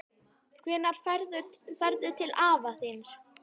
Hvenær ferðu til afa þíns?